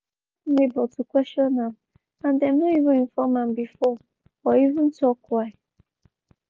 dem stop neighbor to question am and dem no evem inform am before or even tok why.